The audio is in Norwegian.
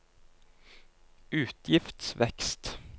utgiftsvekst